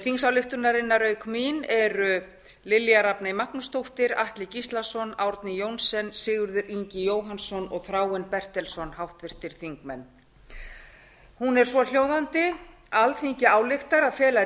þingsályktunarinnar auk mín eru háttvirtir þingmenn lilja rafney magnúsdóttir atli gíslason árni johnsen sigurður ingi jóhannsson og þráinn bertelsson hún er svohljóðandi alþingi ályktar að fela